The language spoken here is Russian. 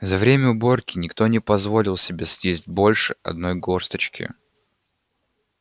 за время уборки никто не позволил себе съесть больше одной горсточки